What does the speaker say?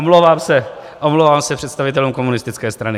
Omlouvám se představitelům komunistické strany.